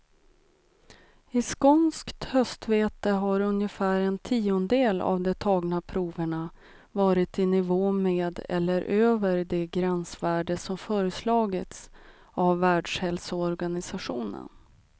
I skånskt höstvete har ungefär en tiondel av de tagna proverna varit i nivå med eller över det gränsvärde som föreslagits av världshälsoorganisationen.